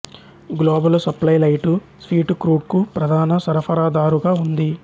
global supply light sweet క్రూడ్కు ప్రధాన సరఫరాదారుగా ఉంది